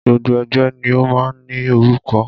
Gbogbo ẹgbẹ́ ni o máa ń ní orúkọ.